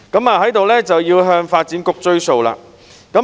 我要在此向發展局"追數"。